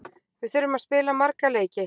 Við þurfum að spila marga leiki.